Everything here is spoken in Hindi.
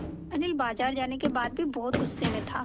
अनिल बाज़ार जाने के बाद भी बहुत गु़स्से में था